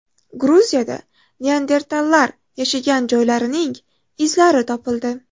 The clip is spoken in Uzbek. Gruziyada neandertallar yashagan joylarining izlari topildi.